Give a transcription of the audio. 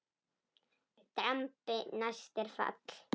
Drambi næst er fall.